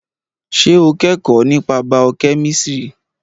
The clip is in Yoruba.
Ṣé o kẹ́kọ̀ọ́ nípa bàọ́ kẹ́mísìrì?